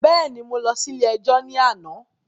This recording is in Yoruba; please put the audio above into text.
Bẹ́ẹ̀ni, mo lọ ilé ẹjọ́ ní àná